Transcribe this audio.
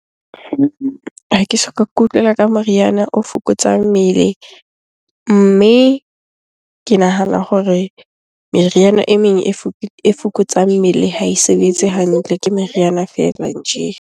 Ha ke soka ke utlwela ka moriana o fokotsang mmele. Mme ke nahana hore meriana e meng e fokotsang mmele ha e sebetse hantle, ke meriana feela nje.